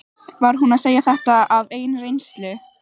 Var hún að segja þetta af eigin reynslu?